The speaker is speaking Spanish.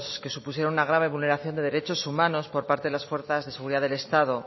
que supusieron una grave vulneración de derechos humanos por parte de las fuerzas de seguridad del estado